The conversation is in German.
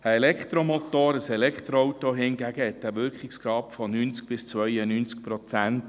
Ein Elektromotor oder ein Elektroauto hat einen Wirkungsgrad von 90–92 Prozent.